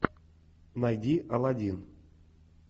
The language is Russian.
найди алладин